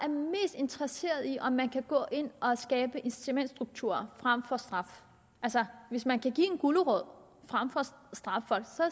interesseret i om man kan gå ind og skabe en incitamentsstruktur frem for at straffe altså hvis man kan give en gulerod frem for at straffe folk